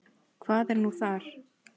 Hvað er þar nú?